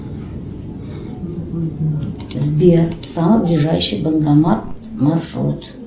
сбер самый ближайший банкомат маршрут